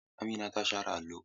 Amina ta share allo.